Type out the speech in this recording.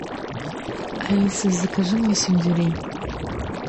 алиса закажи мне сельдерей